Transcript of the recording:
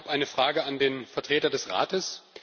Ich habe eine Frage an den Vertreter des Rates.